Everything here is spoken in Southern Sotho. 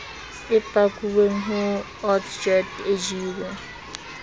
e pakuweng ho otsjet ejiwe